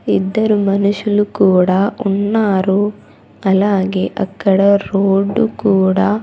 ఇద్దరు మనుషులు కూడా ఉన్నారు అలాగే అక్కడ రోడ్డు కూడా--